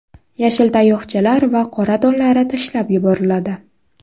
Yashil tayoqchalar va qora donlari tashlab yuboriladi.